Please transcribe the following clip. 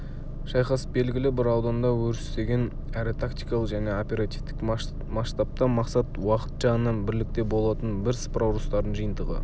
шайқас белгілі бір ауданда өрістеген әрі тактикалық және оперативтік масштабта мақсат уақыт жағынан бірлікте болатын бірсыпыра ұрыстардың жиынтығы